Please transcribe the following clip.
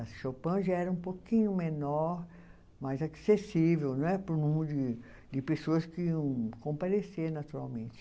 A Chopin já era um pouquinho menor, mais acessível não é para um número de pessoas que iam comparecer naturalmente.